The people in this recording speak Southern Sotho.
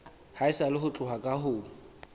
haesale ho tloha ka ho